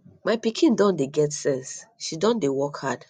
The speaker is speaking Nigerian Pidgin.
my pikin don dey get sense she don dey work hard